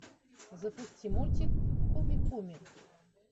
запусти мультик куми куми